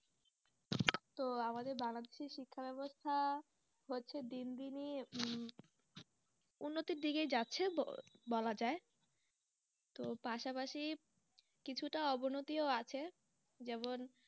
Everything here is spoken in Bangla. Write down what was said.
তো আমাদের বাংলাদেশের শিক্ষা ব্যবস্থা হচ্ছে দিন দিনই উম উন্নতির দিকেই যাচ্ছে বলা যায় তো পাশাপাশি কিছুটা অবনতিও আছে যেমন